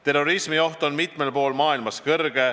Terrorismioht on mitmel pool maailmas suur.